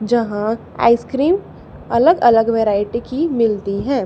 जहां आइसक्रीम अलग अलग वैरायटी की मिलती है।